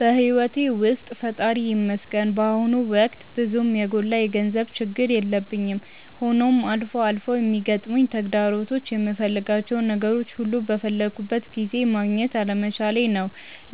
በሕይወቴ ውስጥ ፈጣሪ ይመስገን በአሁኑ ወቅት ብዙም የጎላ የገንዘብ ችግር የለብኝም፤ ሆኖም አልፎ አልፎ የሚገጥሙኝ ተግዳሮቶች የምፈልጋቸውን ነገሮች ሁሉ በፈለግኩት ጊዜ ማግኘት አለመቻሌ ነው።